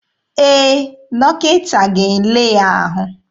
Ee, dọkịta ga-ele ya ahụ.